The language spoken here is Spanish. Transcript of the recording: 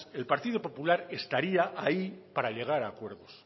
el partido popular estaría ahí para llegar a acuerdos